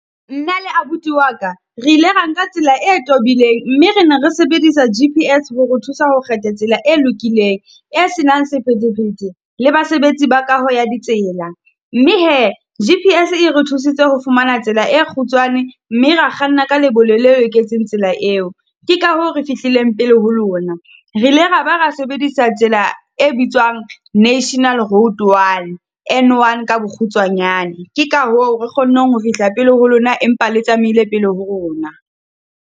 Nna le abuti wa ka, re ile ra nka tsela e tobileng mme re ne re sebedisa G_P_S hore o thusa ho kgetha tsela e lokileng, e se nang sephethephethe le basebetsi ba kaho ya ditsela. Mme he G_P_S e re thusitse ho fumana tsela e kgutshwane, mme re kganna ka lebelo le loketseng tsela eo. Ke ka hoo re fihlileng pele ho lona, re ile ra ba ra sebedisa tsela e bitswang national road one N one Ka bokgutshwanyane. Ke ka hoo re kgonneng ho fihla pele ho lona, empa le tsamaile pele ho rona.